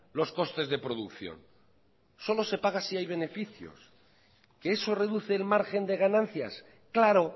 los costes de producción solo se paga si hay beneficios qué eso reduce el margen de ganancias claro